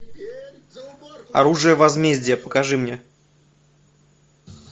оружие возмездия покажи мне